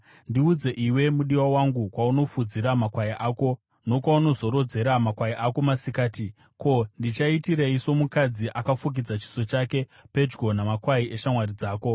Ndiudze, iwe mudiwa wangu, kwaunofudzira makwai ako nokwaunozorodzera makwai ako masikati. Ko, ndichaitirei somukadzi akafukidza chiso chake pedyo namakwai eshamwari dzako?